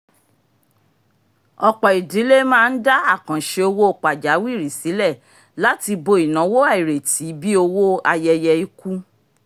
ọ̀pọ̀ idílé máa ń dá àkàǹṣe owó pajawiri sílẹ̀ láti bo ináwó àìrètí bíi owó ayẹyẹ ikú